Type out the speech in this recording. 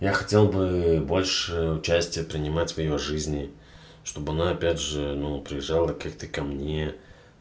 я хотел бы больше участия принимать в её жизни чтобы она опять же ну приезжала как-то ко мне